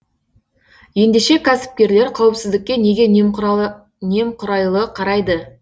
ендеше кәсіпкерлер қауіпсіздікке неге немқұрайлы қарайды